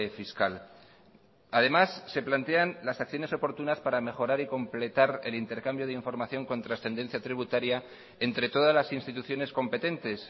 fiscal además se plantean las acciones oportunas para mejorar y completar el intercambio de información con trascendencia tributaria entre todas las instituciones competentes